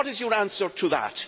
What is your answer to that?